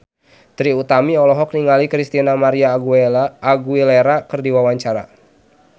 Trie Utami olohok ningali Christina María Aguilera keur diwawancara